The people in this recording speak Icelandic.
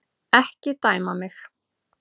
Ekki dæma mig.